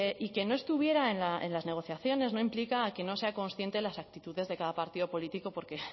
y que no estuviera en las negociaciones no implica que no sea consciente de las actitudes de cada partido político porque